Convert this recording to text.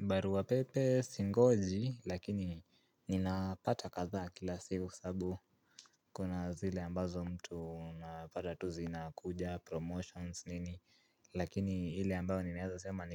Barua pepe singoji lakini ninapata kadhaa kila siku sababu kuna zile ambazo mtu unapata tu zinakuja promotions nini. Lakini ile ambayo ninaeza sema